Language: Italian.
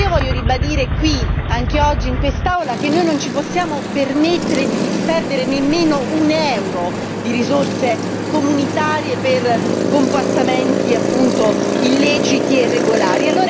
E io voglio ribadire qui, anche oggi in quest'Aula, che noi non ci possiamo permettere di disperdere nemmeno un euro di risorse comunitarie per comportamenti, appunto, illeciti e irregolari.